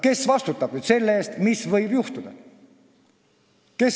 Kes vastutab selle eest, mis võib juhtuda?